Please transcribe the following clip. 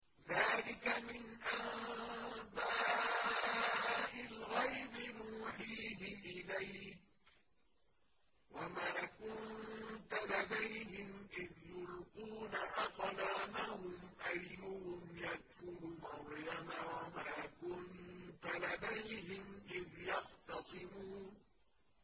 ذَٰلِكَ مِنْ أَنبَاءِ الْغَيْبِ نُوحِيهِ إِلَيْكَ ۚ وَمَا كُنتَ لَدَيْهِمْ إِذْ يُلْقُونَ أَقْلَامَهُمْ أَيُّهُمْ يَكْفُلُ مَرْيَمَ وَمَا كُنتَ لَدَيْهِمْ إِذْ يَخْتَصِمُونَ